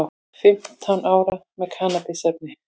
Fimmtán ára með kannabisefni